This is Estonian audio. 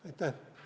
Aitäh!